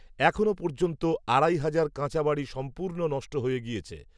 এখনও পর্যন্ত আড়াই হাজার কাঁচাবাড়ি সম্পূ্র্ণ নষ্ট হয়ে গিয়েছে